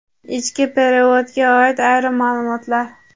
Ichki perevodga oid ayrim maʼlumotlar.